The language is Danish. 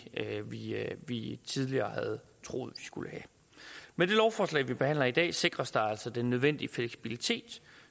vi tidligere havde troet vi skulle have med det lovforslag vi behandler i dag sikres der altså den nødvendige fleksibilitet